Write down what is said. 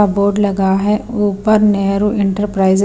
का बोर्ड लगा हुआ है ऊपर नेहरू एंटरप्राइज --